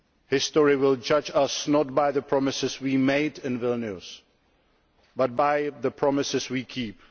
History will judge us not by the promises we made in Vilnius, but by the promises we keep.